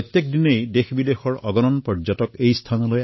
তালৈ প্ৰতিদিনে দেশবিদেশৰ পৰা যথেষ্ট সংখ্যক পৰ্যটক যায়